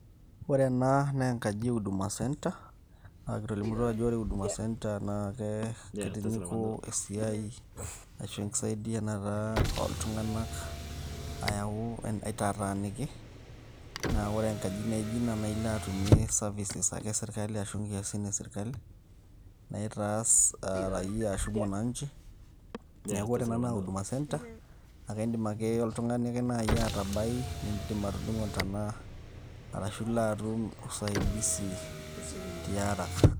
ore ena naa enkaji e huduma center ,kitolimutuo ajo ore huduma center naa kitinyuku esiai, ashu enkisaidianata ooltung'anak aitataaniki, naa ore enkaji naijo ina naa ilo ake atumie inkiasin e sirkali, naitaasi mwananchi ,neeku ore ena naa huduma center ake idim ake oltungani atabai, idim anoto usaidisi tiaraka.